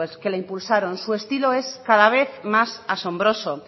que la impulsaron su estilo es cada vez más asombroso